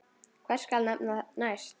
Hvern skal nefna næst?